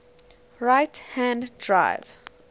right hand drive